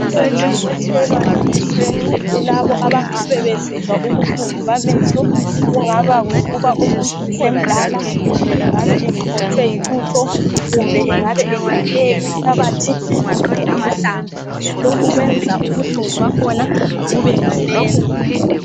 Umuthi othelwa emehlweni kulabo abangabe besizwa ukuhlungu bamehlo. Kungaba yikuba umuntu semdala, kumbe engabe exhotshwe yilutho, kumbe engaba engene inhlabathi kumbe amahlamvu lokhu kuyenza ukuhlungu bakhona bube nganeno